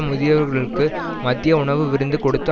முதியவர்களுக்கு மதிய உணவு விருந்து கொடுத்து